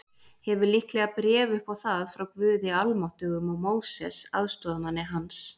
Hefur líklega bréf upp á það frá Guði Almáttugum og Móses, aðstoðarmanni hans.